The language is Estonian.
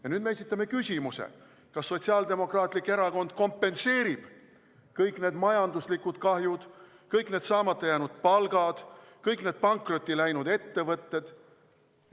Ja nüüd me esitame küsimuse: kas Sotsiaaldemokraatlik Erakond kompenseerib kõik need majanduslikud kahjud, kõik need saamata jäänud palgad, kõik need pankrotti läinud ettevõtted?